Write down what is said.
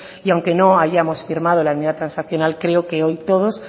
y aunque no hayamos firmado la enmienda transaccional creo que hoy todos